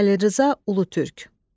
Xəlil Rza Ulutürk.